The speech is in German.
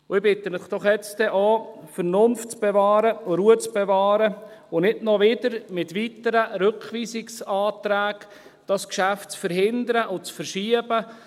» Ich bitte Sie jetzt doch auch, Vernunft zu bewahren und Ruhe zu bewahren und dieses Geschäft nicht noch wieder mit weiteren Rückweisungsanträgen zu verhindern und zu verschieben.